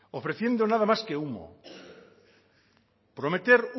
ofreciendo nada más que humo prometer